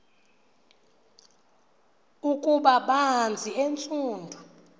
ukuba banzi entsundu